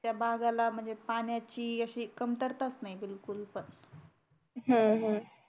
त्या भागाला म्हणजे पाण्याची अशी कमतरता नाही बिलकुल पण